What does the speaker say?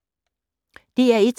DR1